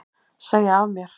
Segja af mér